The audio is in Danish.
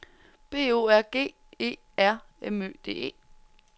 B O R G E R M Ø D E